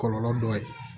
Kɔlɔlɔ dɔ ye